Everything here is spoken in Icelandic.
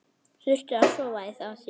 Þurfti að sofa á því.